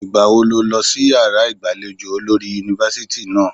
Ìgbà wo ló lọ sí yàrá ìgbàlejò olórí yunifásítì náà?